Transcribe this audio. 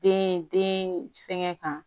Den den fɛngɛ kan